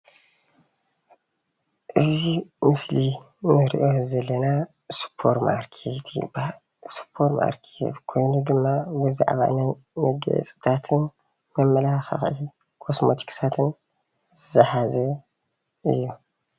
እዚ ምስሊ እንሪኦ ዘለና ስፖርማርኬት ይበሃል። ስፖርማርኬት ኮይኑ ድማ ብዛዕባ ናይ መጋየፅታትን መመላኽዕን ኮስመቲክስን ዝሓዘ እዩ።